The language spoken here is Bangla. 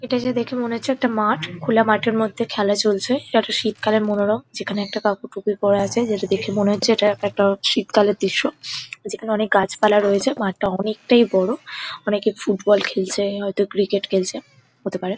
এটা যে দেখে মনে হচ্ছে একটা মাঠ। খোলা মাঠের মধ্যে খেলা চলছে। একটা শীত কালের মনোরম যেখানে একটা কাকু টুপি পরে আছে যেটা দেখে মনে হচ্ছে এটা একটা শীতকালের দৃশ্য যেখানে অনেক গাছপালা রয়েছে। মাঠটা অনেকটাই বড়। অনেকে ফুটবল খেলছে হয়তো ক্রিকেট খেলছে হতে পারে।